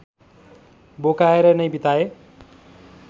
बोकाएर नै बिताए